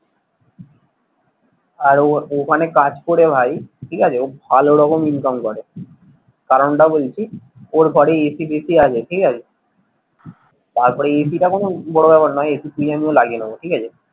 আর ও ওখানে কাজ করে ভাই ঠিক আছে ও ভালো রকম ইনকাম করে। কারনটা বলছি ওর ঘরে AC টেসি আছে ঠিক আছে তারপরে AC টা কোনো বড় ব্যাপার নয় AC কিনে আমিও লাগিয়ে নেবো ঠিক আছে।